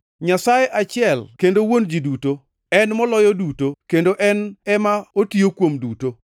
Nyasaye achiel kendo Wuon ji duto, en moloyo duto kendo en ema otiyo kuom duto.